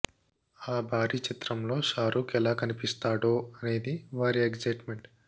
ఆ భారీ చిత్రంలో షారూక్ ఎలా కనిపిస్తాడో అనేది వారి ఎగ్జైట్ మెంట్